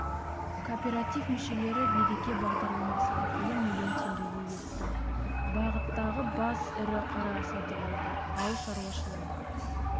кооператив мүшелері береке бағдарламасы арқылы млн теңгеге етті бағыттағы бас ірі қара сатып алды ауыл шаруашылығын